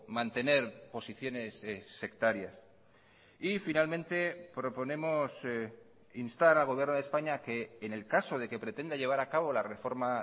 mantener posiciones sectarias y finalmente proponemos instar al gobierno de españa a que en el caso de que pretenda llevar a cabo la reforma